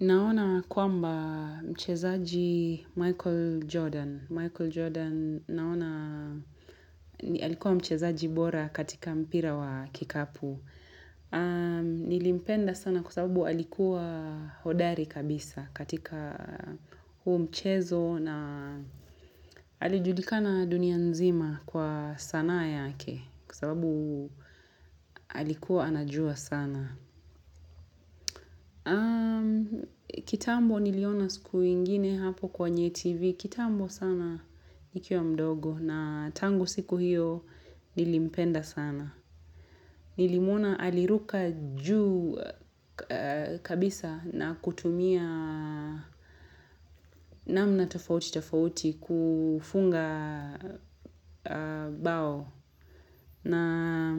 Naona kwamba mchezaaji Michael Jordan. Michael Jordan naona alikuwa mchezaaji bora katika mpira wa kikapu. Nilimpenda sana kwasababu alikuwa hodari kabisa katika huu mchezo na alijulikana dunia nzima kwa sanaa yake kwasababu alikuwa anajua sana. Kitambo niliona siku ingine hapo kwenye tv kitambo sana nikiwa mdogo na tangu siku hiyo nilimpenda sana Nilimwona aliruka juu kabisa na kutumia namna tafauti tafauti kufunga bao na